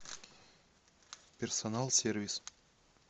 персонал сервис